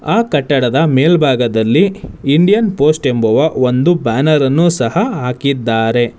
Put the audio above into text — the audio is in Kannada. ಆ ಕಟ್ಟಡದ ಮೇಲ್ಭಾಗದಲ್ಲಿ ಇಂಡಿಯನ್ ಪೋಸ್ಟ್ ಎಂಬ ಒಂದು ಬ್ಯಾನರ್ ಅನ್ನು ಸಹ ಹಾಕಿದ್ದಾರೆ.